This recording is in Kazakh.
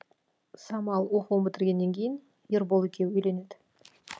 самал оқуын бітіргеннен кейін ербол екеуі үйленеді